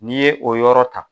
N'i ye o yɔrɔ ta.